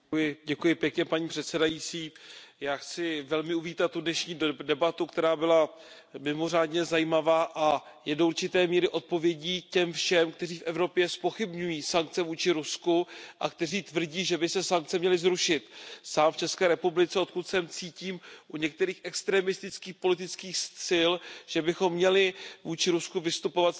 Paní předsedající, já chci velmi uvítat tu dnešní debatu, která byla mimořádně zajímavá a je do určité míry odpovědí těm všem, kteří v Evropě zpochybňují sankce vůči Rusku a kteří tvrdí, že by se sankce měly zrušit. Sám v České republice, odkud jsem, cítím u některých extremistických politických sil, že bychom měli vůči Rusku vystupovat vstřícněji.